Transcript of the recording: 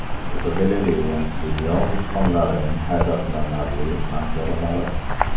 Fotogalereya: Dunyo vulqonlarining hayratlanarli manzaralari.